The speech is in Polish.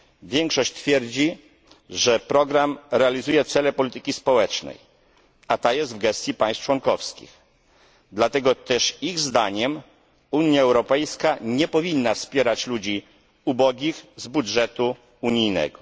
Większość twierdzi, że program realizuje cele polityki społecznej, a ta jest w gestii państw członkowskich, dlatego też ich zdaniem Unia Europejska nie powinna wspierać ludzi ubogich z budżetu unijnego.